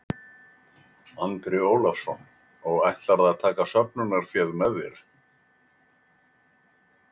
Andri Ólafsson: Og ætlarðu að taka söfnunarféð með þér?